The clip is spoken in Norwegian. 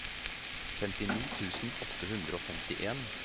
femtini tusen åtte hundre og femtien